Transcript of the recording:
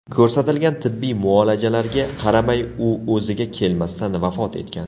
Ko‘rsatilgan tibbiy muolajalarga qaramay u o‘ziga kelmasdan vafot etgan.